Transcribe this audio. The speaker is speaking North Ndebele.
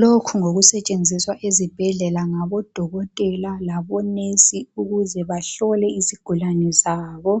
lokhu ngokusetshenziswa ezibhedlela ngabo dokotela labo nurse ukuze bahlole izigulane zabo